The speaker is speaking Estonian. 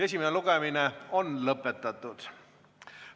Esimene lugemine on lõppenud.